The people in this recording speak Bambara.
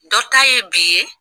Dɔ ta ye bi ye